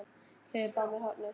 Hlaupa af mér hornin.